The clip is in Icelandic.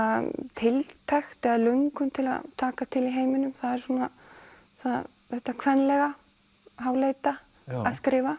tiltekt eða löngun til að taka til í heiminum það er svona þetta kvenlega háleita að skrifa